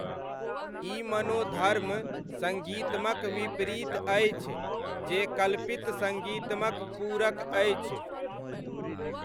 ई मनोधर्म सङ्गीतमक विपरीत अछि, जे कल्पित सङ्गीतमक पूरक अछि।